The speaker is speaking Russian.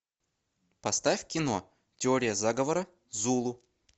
поставь кино теория заговора зулу